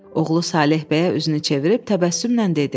Oğlu Saleh bəyə üzünü çevirib təbəssümlə dedi: